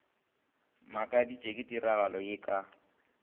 makaditšwe ke tiragalo ye ka